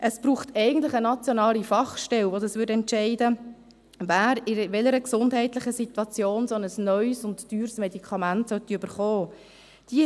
Es braucht eigentlich eine nationale Fachstelle, die dies entscheidet, wer in welcher gesundheitlichen Situation so ein neues und teures Medikament erhalten soll.